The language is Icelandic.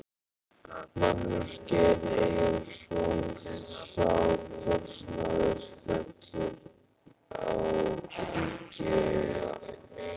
Magnús Geir Eyjólfsson: Sá kostnaður fellur á ríkið eða?